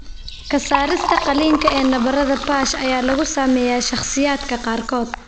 Ka saarista qaliinka ee nabarada PASH ayaa lagu sameeyay shakhsiyaadka qaarkood.